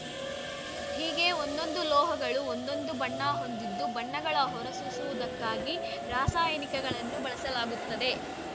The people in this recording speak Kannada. ಹೀಗೆ ಒಂದೊಂದು ಲೋಹಗಳು ಒಂದೊಂದು ಬಣ್ಣ ಹೊಂದಿದ್ದು ಬಣ್ಣಗಳ ಹೊರ ಸೂಸುವುದಕ್ಕಾಗಿ ರಾಸಾಯನಿಕಗಳನ್ನು ಬಳಸಲಾಗುತ್ತದೆ